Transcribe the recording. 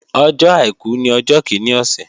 Ọjọ́ àìkú ní ọjọ́ kíní ọ̀sẹ̀